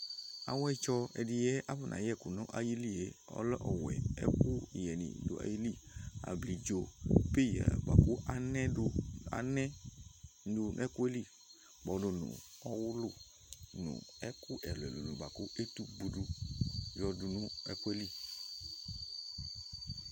Awɛtsɔ ɛdiyɛ bʋakʋ afɔna yɛku nʋ ayìlí yɛ ɔlɛ ɔwɛ ɛkuyɛ ni du ayìlí Abidzo, peya bʋakʋ anɛ du nʋ ɛkʋ yɛ li kpɔdu nʋ ɔwʋlu nʋ ɛkʋ ɛlu ɛlu ni bʋakʋ etugbodu yɔ du nʋ ɛkʋɛ li